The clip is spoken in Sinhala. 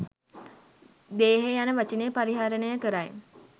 දේහය යන වචනය පරිහරණය කරයි